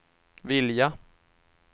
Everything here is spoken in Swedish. vilja